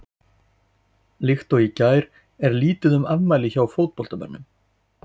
Líkt og í gær er lítið um afmæli hjá fótboltamönnum.